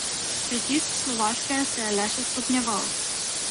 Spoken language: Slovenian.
Pritisk Slovaške se je le še stopnjeval.